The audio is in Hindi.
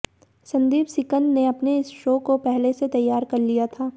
संदीप सिकंद ने अपने इस शो को पहले से तैयार कर लिया था